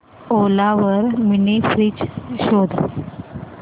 ओला वर mini fridge शोध